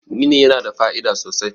gini yana da fa'ida sosai